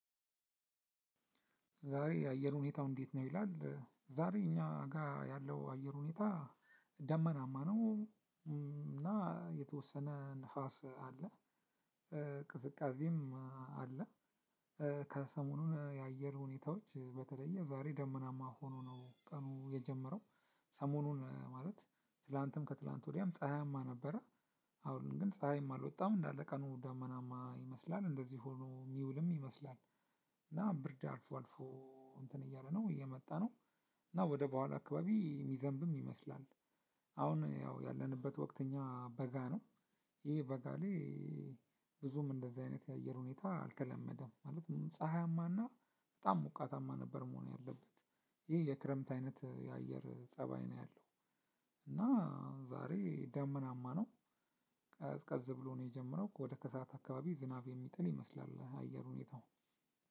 ዛሬ የአየር ሁኔታው እንዴት ነው? ይላል ዛሬ እኛ ጋር ያለው አየር ሁኔታ ደመናማ ነው። እና የተወሰነ ንፋስ አለ። ቅዝቃዜም አለ። ከሰሞኑን የአየር ሁኔታዎች በተለየ ዛሬ ደመናማ ሆኖ ነው ቀኑ የጀመረው። ሰሞኑን ማለት ትላንትም ከትላንት ወዲያም ፀሀያማ ነበረ። አሁን ግን ፀሀይም አልወጣም እንዳለ ቀኑ ደመናማ ይመስላል እንደዚህ ሆኖ የሚውልም ይመስላል። እና ብርድ አልፎ አልፎ እንትን እያለ ነው እየመጣ ነው። እና ወደ በኋላ አካባቢ የሚዘንብም ይመስላል። አሁን ያው ያለንበት ወቅት እኛ በጋ ነው። ይሄ በጋ ላይ ብዙም እንደዚህ አይነት የአየር ሁኔታ አልተለመደም። ማለት ፀሀያማና በጣም ሞቃታማ ነበር መሆን ያለበት። ይሄ የክረምት አይነት የአየር ፀባይ ነው ያለው። እና ዛሬ ደመናማ ነው። ብሎ ነው የጀመረው ወደ ከሰአት አካባቢ ዝናብ የሚጥል ይመስላል አየር ሁኔታው።